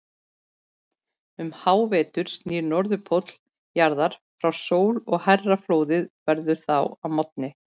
Um hávetur snýr Norðurpóll jarðar frá sól og hærra flóðið verður þá að morgni.